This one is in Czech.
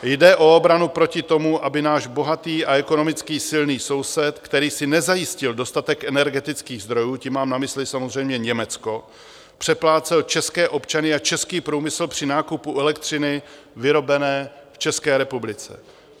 Jde o obranu proti tomu, aby náš bohatý a ekonomicky silný soused, který si nezajistil dostatek energetických zdrojů, tím mám na mysli samozřejmě Německo, přeplácel české občany a český průmysl při nákupu elektřiny vyrobené v České republice.